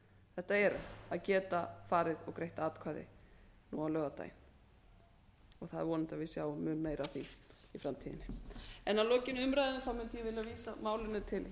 þetta eru að geta farið og greitt atkvæði nú á laugardaginn að er vonandi að við sjáum mun meira af því í framtíðinni að lokinni umræðunni mundi ég vilja vísa málinu til